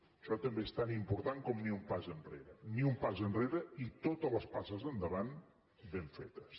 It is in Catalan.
això també és tan important com ni un pas enrere ni un pas enrere i totes les passes endavant ben fetes